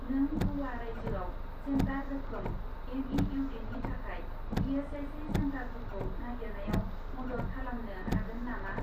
नों ग'वा रायजोआव सेन्टार रोखोम एम.इ.इउ.डी.नि थाखाय इ.एस.आइ.सि. सेन्टारफोरखौ नागिरनायाव मदद खालामनो हागोन नामा ?